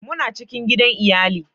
muna cikin gidan iyali